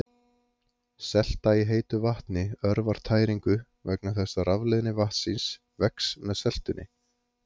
Selta í heitu vatni örvar tæringu vegna þess að rafleiðni vatnsins vex með seltunni.